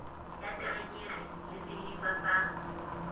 ya terekere le sesebediswa sa